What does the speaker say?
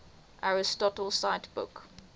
aristotle cite book